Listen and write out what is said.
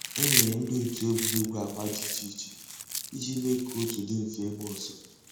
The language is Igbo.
É nyéré ndị́ ótú ègwùrégwú àgbà dị́ ìchè ìchè ìjì méé kà otu dị́ m̀fè ígbàsó.